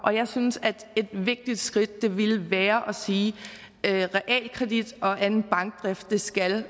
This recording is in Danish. jeg synes at et vigtigt skridt ville være at sige at realkredit og anden bankdrift skal